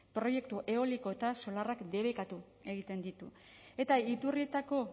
proiektu eolikoetan solarrak debekatu egiten ditu eta iturrietako